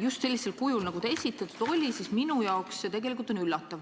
just sellisel kujul, kui ta esitatud oli, siis minu jaoks on see tegelikult üllatav.